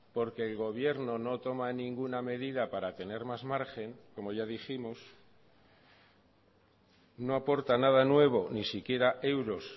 porque el gobierno no toma ninguna medida para tener más margen como ya dijimos no aporta nada nuevo ni siquiera euros